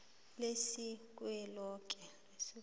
lesizweloke